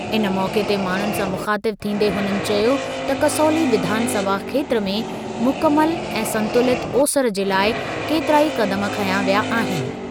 इन मौक़े ते माण्हुनि सां मुख़ातिब थींदे हुननि चयो त कसौली विधानसभा खेत्रु में मुकमल ऐं संतुलित ओसरि जे लाइ केतिरा ई क़दम खंया विया आहिनि।